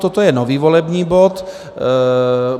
Toto je nový volební bod.